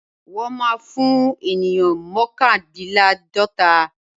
Wọ́n má́a fún ènìyàn mọ́kàndíláàdọ́ta.